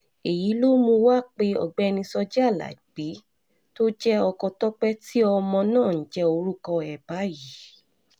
èyí ló mú wa pé ọ̀gbẹ́ni sójì alábí tó jẹ́ ọkọ tọ́pẹ́ tí ọmọ náà ń jẹ́ orúkọ ẹ̀ báyìí